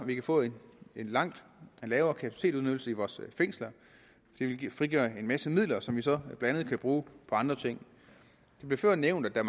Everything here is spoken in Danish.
vi får en langt lavere kapacitetsudnyttelse af vores fængsler det vil frigøre en masse midler som vi så blandt andet kan bruge på andre ting det blev før nævnt at der